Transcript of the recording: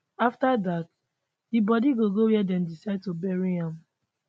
afta dat di bodi go go wia dem decide to bury am